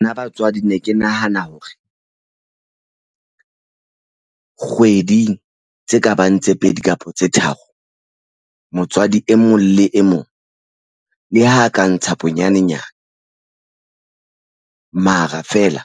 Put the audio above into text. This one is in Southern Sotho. Nna batswadi ne ke nahana hore kgweding tse ka bang tse pedi kapa tse tharo motswadi e mong le e mong le ha ka ntsha bonyanenyana mara feela